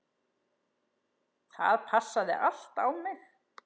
Það passaði allt á mig.